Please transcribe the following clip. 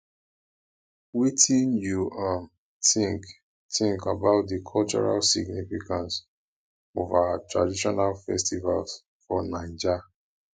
wetin you um think think about di cultural significance of our traditional festivals for naija